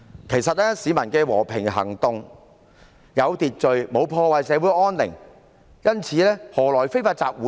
其實，市民的和平行動甚有秩序，並無破壞社會安寧，何來非法集會呢？